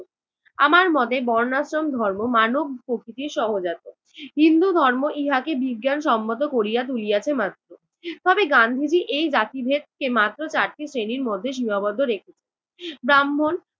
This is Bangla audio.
আমার মতে বর্ণাশ্রম ধর্ম মানব প্রকৃতির সহজাত। হিন্দুধর্ম ইহাকে বিজ্ঞানসম্মত করিয়া তুলিয়াছে মাত্র। তবে গান্ধিজি এই জাতিভেদকে মাত্র চারটি শ্রেণীর মধ্যে সীমাবদ্ধ রেখেছেন- ব্রাহ্মণ,